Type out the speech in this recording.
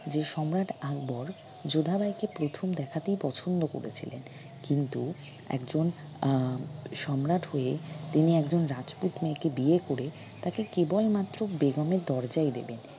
যে সম্রাট আকবর যোধাবাইকে প্রথম দেখাতেই পছন্দ করেছিলেন কিন্তু একজন আহ সম্রাট হয়ে তিনি একজন রাজপুত মেয়েকে বিয়ে করে তাকে কেবল মাত্র বেগমের দরজাই দিলেন